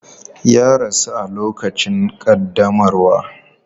Ya rasu a lokacin ƙaddamarwa.